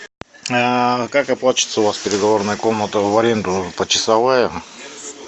как оплачивается у вас переговорная комната в аренду почасовая